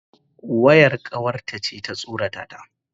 Wayar kawarta ce ta tsorata ta.